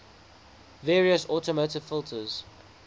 various automotive filters